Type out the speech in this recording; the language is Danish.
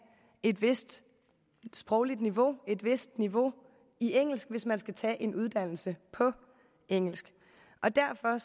et vist sprogligt niveau et vist niveau i engelsk hvis man skal tage en uddannelse på engelsk og derfor